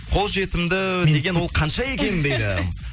қол жетімді деген ол қанша екен дейді